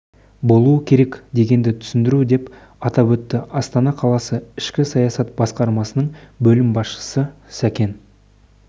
болуы керек дегенді түсіндіру деп атап өтті астана қаласы ішкі саясат басқармасының бөлім басшысы сәкен